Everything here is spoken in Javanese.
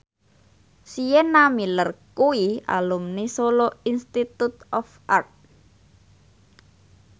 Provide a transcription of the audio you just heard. Sienna Miller kuwi alumni Solo Institute of Art